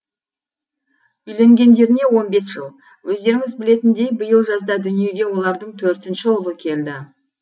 үйленгендеріне он бес жыл өздеріңіз білетіндей биыл жазда дүниеге олардың төртінші ұлы келді